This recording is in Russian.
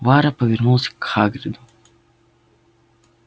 вара повернулся к хакриду